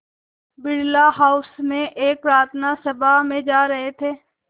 Birla house में एक प्रार्थना सभा में जा रहे थे